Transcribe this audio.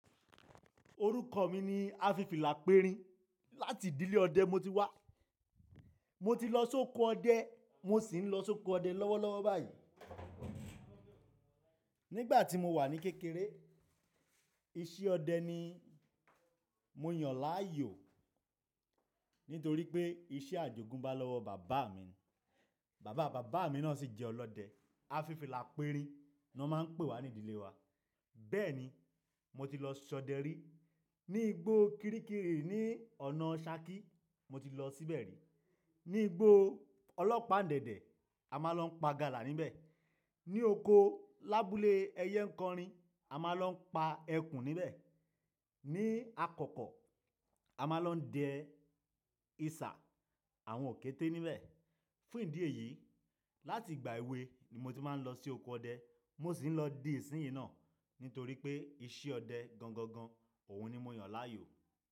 Orúkọ mi ni Afifilaperin. Láti ìdílé ọdẹ mo ti wá. Mo ti lọ sóko ọdẹ, mo sì ń lọ sóko ọdẹ lọ́wọ́lọ́wọ́ báyìí. Nígbà tí mo wà ní kékeré, iṣẹ́ ọdẹ ni mo yàn láàyò nítorí pé iṣẹ́ Àjògún bá lọ́wọ́ bàbá mi ni. Bàbá bàbá mi náà sì jẹ́ ọlọ́dẹ. Afifilaperin ni wọ́n máa ń pè wa ní ìdílé wa. Bẹ́ẹ̀ni, mo ti lọ ṣọdẹ rí. Ni igbó Kiríkirí ní ọ̀nà Saki, mo ti lọ síbẹ̀ rí. Ni igbó ọlọ́pàán Dèdè, a máa lọ pa gala níbẹ̀. Ni oko lábúlé ẹyẹ nkanrin, a máa lọ pa ẹkùn níbẹ̀. Ni akọkọ, a máa lọ dẹ iṣa àwọn òkété níbẹ̀. Fún ìdí èyí, láti igbà èwe ni mo ti máa ń lọ sí oko ọdẹ. Mo sì ń lọ dì ìsinyi náà nítorí pé iṣẹ́ ọdẹ gangan gan, òun ni mo yàn láàyò.